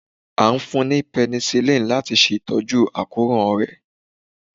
A o fún ni penicillin lati ṣe tọju akoran rẹ.